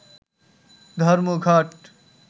ধর্মঘট